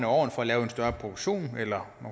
årene for at lave en større produktion eller